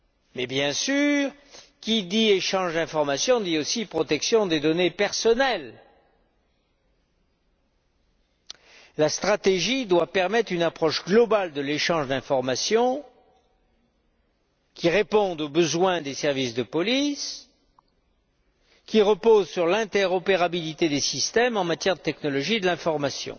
Mais bien sûr, qui dit échange d'informations dit aussi protection des données personnelles. La stratégie doit permettre une approche globale de l'échange d'informations qui réponde aux besoins des services de police et repose sur l'interopérabilité des systèmes en matière de technologies de l'information.